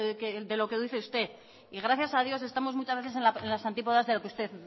de lo que dice usted y gracias a dios estamos muchas veces en las antípodas de lo que usted